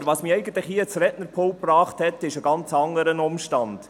Aber was mich hier ans Rednerpult gebracht hat, ist ein ganz anderer Umstand.